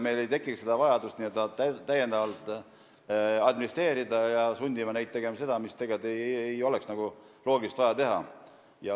Meil ei tekigi vajadust seda n-ö täiendavalt administreerida ega sundida põllumehi tegema seda, mis loogiliselt ei olekski vaja teha.